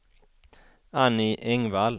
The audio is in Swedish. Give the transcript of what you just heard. Annie Engvall